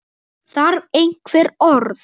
Þarf einhver orð?